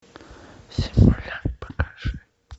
симулянт покажи